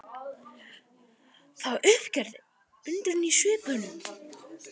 Það var uppgerðar undrun í svipnum.